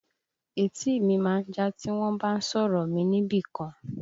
Etí mi má ń já tí wọ́n bá ń sọ̀rọ̀ mi níbìkan